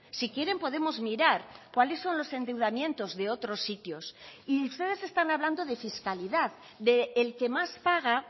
si quieren podemos mirar cuáles son los endeudamientos de otros sitios y ustedes están hablando de fiscalidad del que más paga